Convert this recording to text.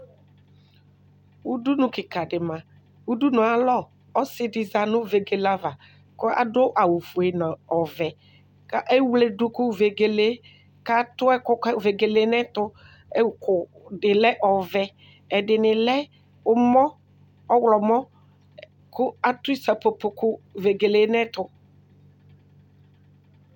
Ʋdʋnʋ kika di manʋ ayʋ alɔ ɔsidi zanʋ vegele ava kʋ adʋ awʋfue nʋ ɔvɛ kʋ ewledʋ kʋ vegele kʋ atʋ ɛkʋ kʋ vegele nʋ ɛtʋ ʋkʋ dilɛ ɔvɛ ɛdini lɛ ɔwlɔmɔ kʋ atʋ isakpopo kʋ vegele nʋ ɛtʋ